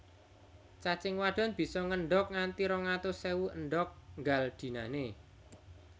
Cacing wadon bisa ngendhog nganti rong atus ewu endhog nggal dinané